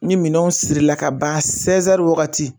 Ni minɛnanw siri la kaban wagati